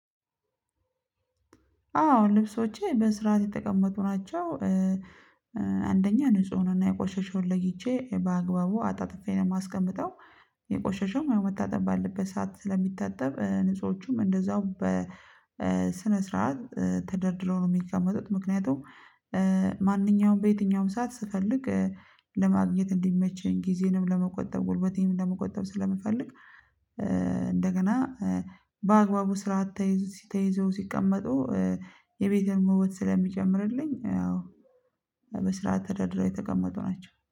አዎ፤ ልብሶቼ በስርዓት የተቀመጡ ናቸው። አንደኛ ንጹህን እና የቆሸሸውን ለይቼ፤ በአግባቡ አጣጥፌ ነው የማስቀምጠው። የቆሸሸውም ያው መታጠብ ባለበት ሰዓት ስለሚታጠብ ንጹሆቹም እንደዛው በስነ ስርዓት ተደርድረው ነው የሚቀመጡት። ምክንያቱም ማንኛውም በየትኛውም ሰዓት ስፈልግ ለማግኘት እንዲመቸኝ፣ ጊዜንም ለመቆጠብ፣ ጉልበቴንም ለመቆጠብ ስለምፈልግ፤ እንደገና በአግባቡ ስርዓት ተይዘው ሲ ተይዘው ሲቀመጡ፤ የቤቴንም ውበት ስለሚጨምርልኝ አዎ፤ በስርዓት ተደርድረው የተቀመጡ ናቸው።